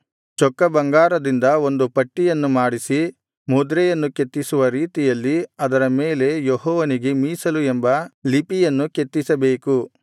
ಚೊಕ್ಕ ಬಂಗಾರದಿಂದ ಒಂದು ಪಟ್ಟಿಯನ್ನು ಮಾಡಿಸಿ ಮುದ್ರೆಯನ್ನು ಕೆತ್ತಿಸುವ ರೀತಿಯಲ್ಲಿ ಅದರ ಮೇಲೆ ಯೆಹೋವನಿಗೆ ಮೀಸಲು ಎಂಬ ಲಿಪಿಯನ್ನು ಕೆತ್ತಿಸಬೇಕು